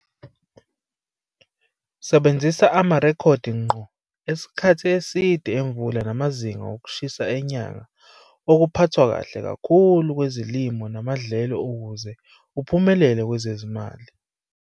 Sebenzisa amarekhodi ngqo esikhathi eside emvula namazinga okushisa enyanga okuphathwa kahle kakhulu kwezilimo namadlelo ukuze uphumelele kwezezimali.